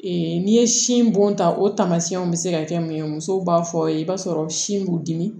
n'i ye sin bɔn ta o tamasiyɛnw bɛ se ka kɛ mun ye musow b'a fɔ ye i b'a sɔrɔ sin b'u dimi